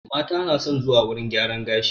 Mata na son zuwa wurin gyaran gashi